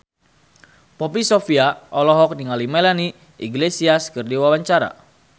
Poppy Sovia olohok ningali Melanie Iglesias keur diwawancara